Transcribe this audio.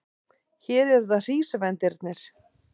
Hér eru það hrísvendirnir.